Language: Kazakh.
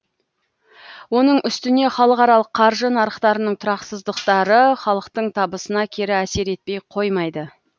оның үстіне халықаралық қаржы нарықтарының тұрақсыздықтары халықтың табысына кері әсер етпей қоймайды